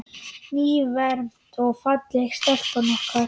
Nýfermd og falleg stelpan okkar.